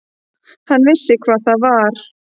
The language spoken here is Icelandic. Hann vissi hvað það var.